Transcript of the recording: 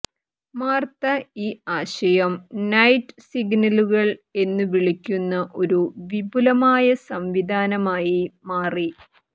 Martha ഈ ആശയം night സിഗ്നലുകൾ എന്നു വിളിക്കുന്ന ഒരു വിപുലമായ സംവിധാനമായി മാറി